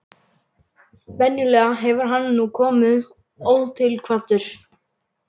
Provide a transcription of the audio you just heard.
Venjulega hefur hann nú komið ótilkvaddur.